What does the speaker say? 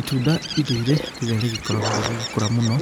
Itunda rĩrĩ rĩrĩa rĩgĩkoragwo rĩgĩkũra mũno